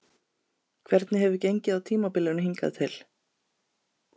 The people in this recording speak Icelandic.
Hvernig hefur gengið á tímabilinu hingað til?